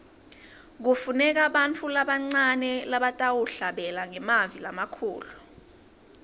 kufuneka bantfu labancane labatawuhlabela ngemavi lamakhulu